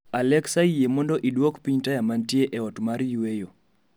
alexa yie mondo iduok piny taya mantie e ot mar yweyo